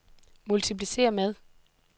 multipliceret med